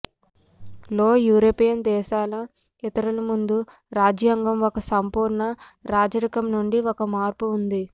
లో యూరోపియన్ దేశాల ఇతరులు ముందు రాజ్యాంగ ఒక సంపూర్ణ రాజరికం నుండి ఒక మార్పు ఉంది